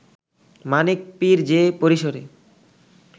মানিক পীর যে পরিসরে